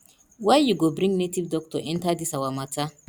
why you go bring native doctor enter dis our matter